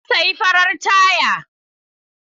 Na sayi farar taya.